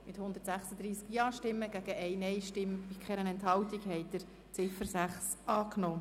Mit 136 Ja-Stimmen gegen 1 Nein-Stimme bei keiner Enthaltung haben Sie die Ziffer 6 angenommen.